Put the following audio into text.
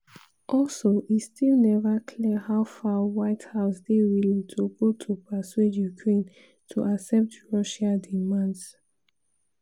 also e still never clear how far white house dey willing to go to persuade ukraine to accept russia demands.